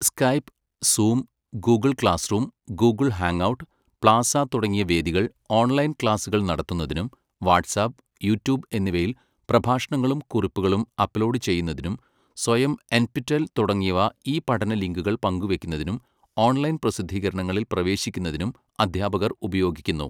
Skype, Zoom, Google classroom, Google hangout, plaza തുടങ്ങിയ വേദികൾ online ക്ലാസ്സുകൾ നടത്തുന്നതിനും വാട്സാപ്, യൂട്യൂബ് എന്നിവയിൽ പ്രഭാഷണങ്ങളും കുറിപ്പുകളും അപ്ലോഡ് ചെയ്യുന്നതിനും സ്വയം, എൻപിടെൽ തുടങ്ങിയവ ഇ പഠന ലിങ്കുകൾ പങ്കുവയ്ക്കുന്നതിനും ഓൺലൈൻ പ്രസിദ്ധീകരണങ്ങളിൽ പ്രവേശിക്കുന്നതിനും അധ്യാപകർ ഉപയോഗിക്കുന്നു.